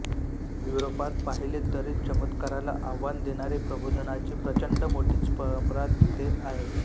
युरोपात पाहिले तरी चमत्काराला आव्हान देणारी प्रबोधनाची प्रचण्ड मोठीच परम्परा तेथे आहे